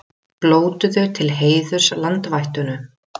Blótuðu til heiðurs landvættunum